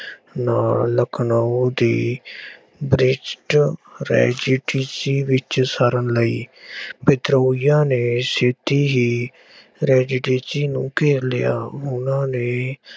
ਨਾਲ ਲਖਨਊ ਦੀ British residency ਵਿੱਚ ਸ਼ਰਨ ਲਈ। ਵਿਦਰੋਹੀਆਂ ਨੇ ਸਿੱਧੀ ਹੀ ਰੈਜ਼ੀਟੀਸੀ ਨੂੰ ਘੇਰ ਲਿਆ। ਉਹਨਾ ਨੇ